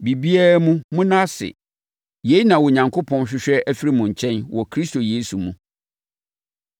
biribiara mu, monna ase. Yei na Onyankopɔn hwehwɛ afiri mo nkyɛn wɔ Kristo Yesu mu.